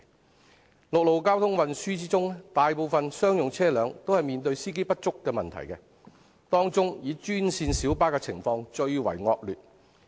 在陸路交通運輸方面，大部分商用車輛均面對司機不足的問題，當中以專線小巴的情況最為惡劣。